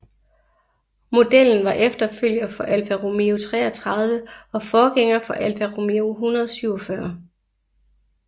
Modellen var efterfølger for Alfa Romeo 33 og forgænger for Alfa Romeo 147